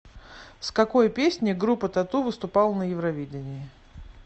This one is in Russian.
с какой песней группа тату выступала на евровидении